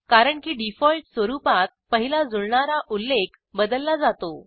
कारण की डिफॉल्ट स्वरूपात पहिला जुळणारा उल्लेख बदलला जातो